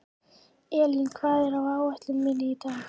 Elíndís, hvað er á áætluninni minni í dag?